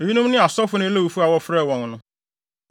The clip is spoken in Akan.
Eyinom ne asɔfo ne Lewifo a wɔfrɛɛ wɔn no: